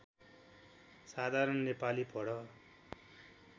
साधारण नेपाली पढ